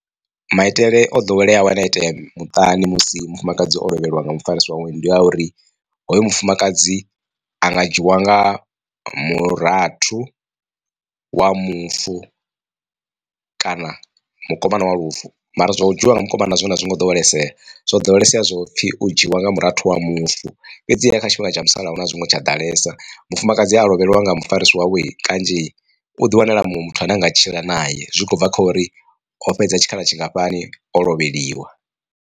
Maitele o ḓoweleaho ane itea muṱani musi mufumakadzi o lovheliwa nga mufarisi wawe ndi a uri hoyo mufumakadzi a nga dzhiiwa nga murathu wa mufu kana mukomana wa mufu mara zwa u dzhiiwa nga mukomana zwone a zwi ngo ḓowelea zwo ḓowelesea zwo pfhi u dzhiwa nga murathu wa mufu fhedziha kha tshifhinga tsha musalauno a zwingo tsha ḓalesa mufumakadzi a lovheliwa nga mufarisi wawe kanzhi u ḓi wanela muṅwe muthu ane anga tshila naye zwi khou bva kha uri o fhedza tshikhala tshingafhani o lovheliwa.